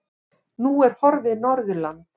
Nú er horfið Norðurland.